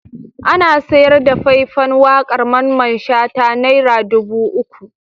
Ana sayar da fai-fan waƙar Mamman Shata naira dubu uku.